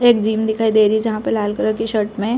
यहाँ एक जीम दिखाई दे रही है जहाँ पे लाल कलर की शर्ट में--